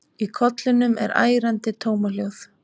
Í kollinum er ærandi tómahljóð.